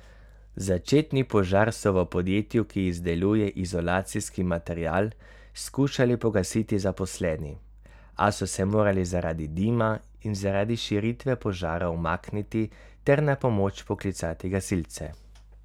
Začetni požar so v podjetju, ki izdeluje izolacijski material, skušali pogasiti zaposleni, a so se morali zaradi dima in zaradi širitve požara umakniti ter na pomoč poklicati gasilce.